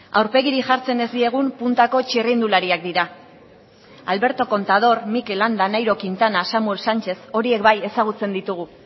aurpegirik jartzen ez diegun puntako txirrindulariak dira alberto contador mikel landa nairo quintana samuel sánchez horiek bai ezagutzen ditugu